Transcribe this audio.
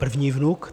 První vnuk.